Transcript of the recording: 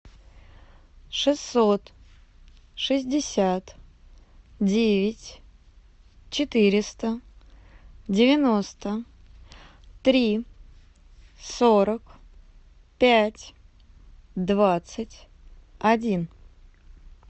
шестьсот шестьдесят девять четыреста девяносто три сорок пять двадцать один